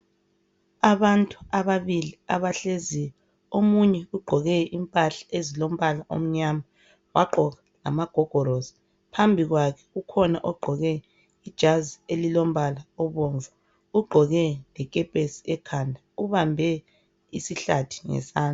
Abantu ababili abahleziyo omunye ugqoke impahla ezilombala omnyama wagqoka lamagogorosi phambi kwakhe kukhona ogqoke ijazi elimbala obomvu ugqoke lekepesi ekhanda ubambe isihlathi ngesamdla.